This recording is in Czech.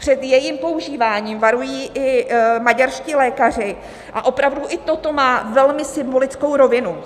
Před jejím používáním varují i maďarští lékaři a opravdu i toto má velmi symbolickou rovinu.